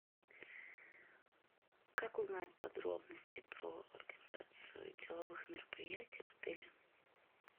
как узнать подробности про организацию деловых мероприятий в отеле